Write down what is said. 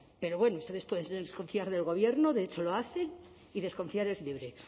pero bueno ustedes pueden desconfiar del gobierno de hecho lo hacen y desconfiar es libre